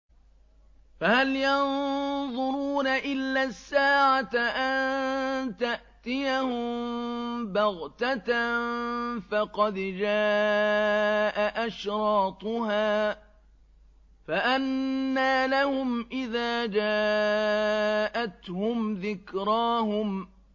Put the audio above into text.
فَهَلْ يَنظُرُونَ إِلَّا السَّاعَةَ أَن تَأْتِيَهُم بَغْتَةً ۖ فَقَدْ جَاءَ أَشْرَاطُهَا ۚ فَأَنَّىٰ لَهُمْ إِذَا جَاءَتْهُمْ ذِكْرَاهُمْ